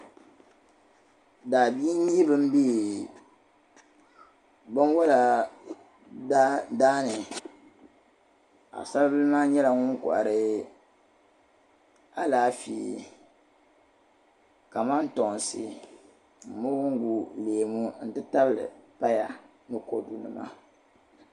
Daabihi n nyɛ ban be binwala daani paɣisaribil maa nyɛla ŋun kohiri alafee, kamantoonsi moongu leemu n ti tabili paya. nikodu nima